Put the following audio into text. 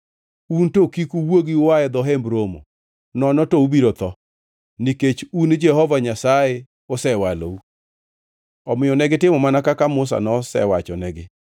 Un to kik uwuogi ua e dho Hemb Romo, nono to ubiro tho, nikech un Jehova Nyasaye osewalou.” Omiyo negitimo mana kaka Musa nosewachonegi.